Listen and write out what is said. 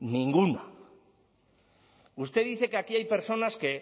ninguna usted dice que aquí hay personas que